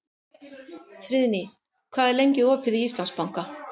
Friðný, hvað er lengi opið í Íslandsbanka?